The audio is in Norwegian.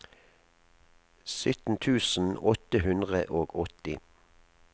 sytten tusen åtte hundre og åtti